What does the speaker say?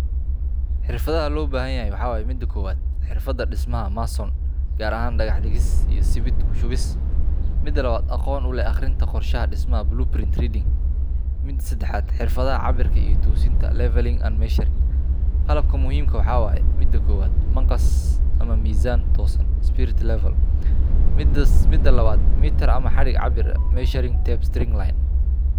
Xirfadhaha loo bahan yahay waxaa waye ,xirfada kowaad ee mason gaar ahan dhaqax dhigis iyo ismid kushuwis. Midaa labaad, aqon u lex aqrista dhismaha qorshaha, blue print reading. MIdaa sedexad ,xirfadaha abirka iyo tosinta levelling and measuring. Qalabka muhimka waxa weye midaa kowaad, maqas ama mizaan, tosaan spirit level, midaa labaad, mitaar ama xarig cabir eh measuring tapes string line.